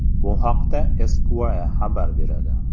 Bu haqda Esquire xabar beradi.